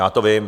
Já to vím.